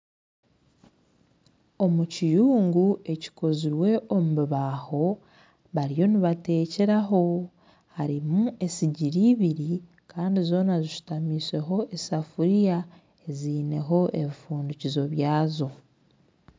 Omu kiyungu ekikozirwe omubibaho bariyo nibatekyeraho harimu esigiri ibiri Kandi zoona zishutamiseho esafuriya ezineho ebifundikizo byazo.